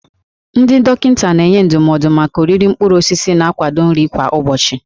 Ndị dọkịta na-enye ndụmọdụ maka oriri mkpụrụ osisi na akwụkwọ nri kwa ụbọchị.